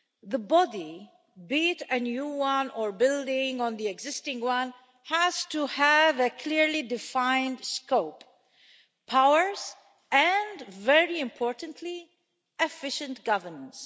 The body, be it a new one or building on the existing one, has to have a clearly defined scope, powers and, very importantly, efficient governance.